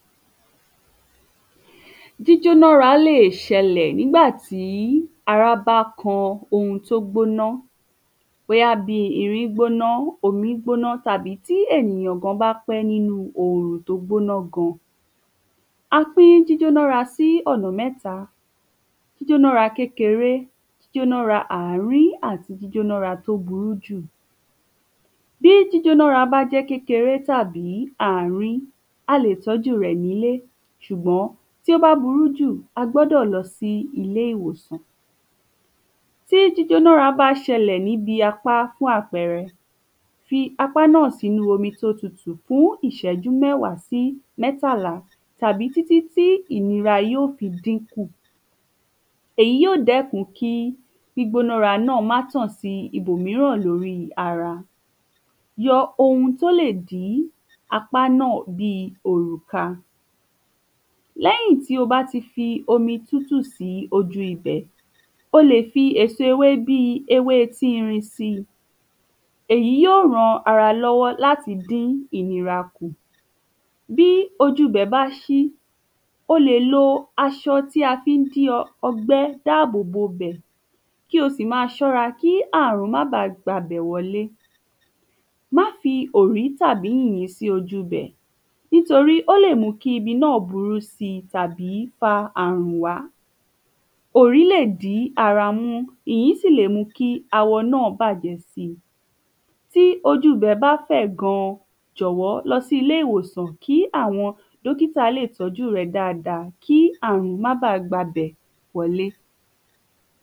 Jíjónára lè ṣẹlẹ̀ nígbàtí ara bá kan ohun tó gbóná bóyá bíi irin gbóná, omi gbóná tàbí tí ènìyàn bá pẹ́ nínu òrùn tó gbóná gan. a pín jíjónára sí ọ̀nà mẹ́ta - jíjónára kékeré, jíjónara àárín àti jíjónára tó burú jù bí jíjónára bá jẹ́ kékeré tàbí àárín a lè tọ́ju rẹ̀ nílé ṣùgbọ́n tó bá burú jù a gbọdọ̀ lọ sí ilé ìwòsàn tí jíjónára bá ṣẹlẹ̀ níbi apá fún àpẹrẹ fi apá náà sí inú omi tó tutù fún ìṣẹ́jú mẹ́wàá sí mẹ́tàlá tàbí títí tí ìnira yóò fi dínkù èyí óò dẹ́kun kí gbígbónára náà má tàn síbò míràn lóri ara, yọ ohun tó lè dí apá náà bí òrùka lẹ́yìn tí o bá ti fi omi tútù sí ojú ibẹ̀ o lè fi èso ewé bíi ewé efirin síi èyí yóò ran ara lọ́wọ́ láti dín ìnira kù bí ojú ibẹ̀ bá ṣí o lè lo aṣọ tí a fi ń di ọgbẹ́ dáàbò bo ibẹ̀ kí o sì máa ṣọ́ra kí àrùn má gba ibẹ̀ wọlé má fi òrí tàbí yìnyín dí ojú ibẹ̀ nítorí ó lè mú kí ibi náa burú síi tàbí fa àrùn wá, òrí lè di ara mú èyí sì lè mú kí awọ náà bàjẹ́ bí ojú ibè bá fẹ̀ gan jọ̀wọ́ lọ sí ilé ìwòsàn kí àwọn dọ́kítà lè tọ́ju ẹ dáadáa, kí àrùn má baà gba ibẹ̀ wọlé